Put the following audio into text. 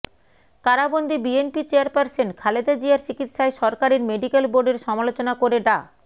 কারাবন্দি BNP chairperson Khaleda জিয়ার চিকিৎসায় সরকারের মেডিক্যাল বোর্ডের সমালোচনা করে ডা